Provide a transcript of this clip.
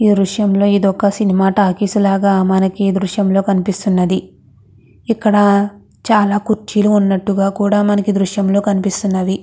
ఈ దృశ్యంలో ఇది ఒక సినిమా టాకీస్ లాగా మనకు దృశ్యంలో కనిపిస్తున్నది. ఇక్కడ చాల కుర్చీలు వున్నట్టు గా కూడా మనకు దృశ్యంలో కనిపిస్తున్నది.